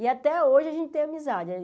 E até hoje a gente tem amizade.